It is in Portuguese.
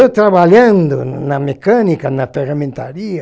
Eu trabalhando na mecânica, na ferramentaria,